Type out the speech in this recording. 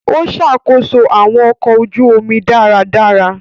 O ṣakoso awọn ọkọ ojú omi dáradára.